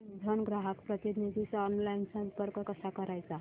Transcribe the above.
Amazon ग्राहक प्रतिनिधीस online संपर्क कसा करायचा